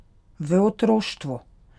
V otroštvu?